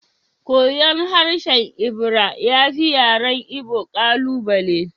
Koyon harshen Ebira ya fi yaren Igbo ƙalubale